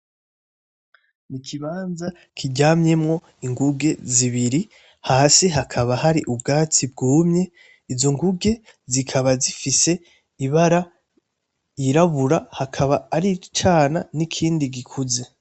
N’ikibanza kiryamyemwo inguge zibiri, hasi hakaba hari ubwatsi bwumye. Izo nguge zikaba zifise ibara ryirabura akaba ari icana n’ikindi gikuze.